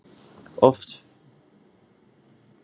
Of feitir deyja fyrr en aðrir